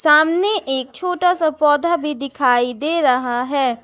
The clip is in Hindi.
सामने एक छोटा सा पौधा भी दिखाई दे रहा है।